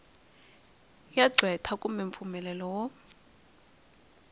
ya qweta kumbe mpfumelelo wo